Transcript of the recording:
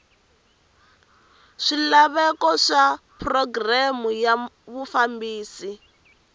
swilaveko swa programu ya vufambisi